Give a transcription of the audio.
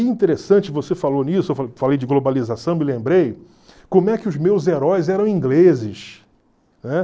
E interessante, você falou nisso, eu falei de globalização, me lembrei, como é que os meus heróis eram ingleses